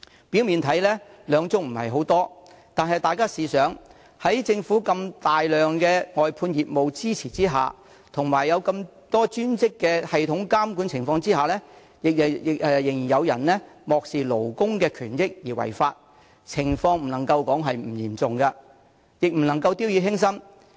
表面上，兩宗這個數字看似不多，但大家試想一下，在政府如此龐大的外判業務支持下及專職的系統監管下，仍然有人漠視勞工的權益而違法，情況不能說不嚴重，亦不可掉以輕心。